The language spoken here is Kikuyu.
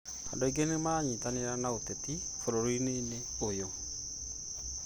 andũ aingĩ nĩ maranyitanĩra na ũteti bũrũriinĩ ũyũ